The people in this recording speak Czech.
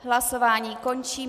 Hlasování končím.